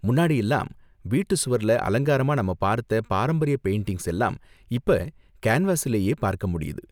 முன்னாடியெல்லாம் வீட்டு சுவர்ல அலங்காரமா நாம பார்த்த பாரம்பரிய பெயிண்டிங்ஸ் எல்லாம் இப்ப கேன்வஸிலேயே பார்க்க முடியுது.